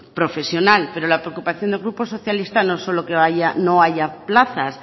profesional pero la preocupación del grupo socialista no solo que no haya plazas